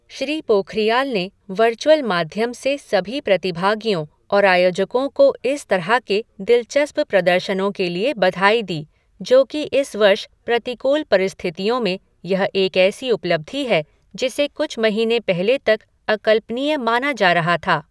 श्री पोखरियाल ने वर्चुअल माध्यम से सभी प्रतिभागियों और आयोजकों को इस तरह के दिलचस्प प्रदर्शनों के लिए बधाई दी, जो कि इस वर्ष प्रतिकूल परिस्थितियों में यह एक ऐसी उपलब्धि है जिसे कुछ महीने पहले तक अकल्पनीय माना जा रहा था।